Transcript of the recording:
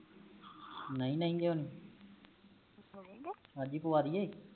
ਨਹੀਂ ਨਹੀਂ ਕਯੋ ਨੀ ਆਜ ਹੀ ਪਵਾਦੀਏ